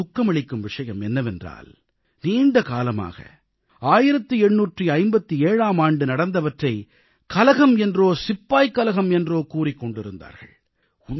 இதில் துக்கமளிக்கும் விஷயம் என்னவென்றால் நீண்ட காலமாக 1857ஆம் ஆண்டு நடந்தவற்றை கலகம் என்றோ சிப்பாய்க் கலகம் என்றோ கூறிக் கொண்டிருந்தார்கள்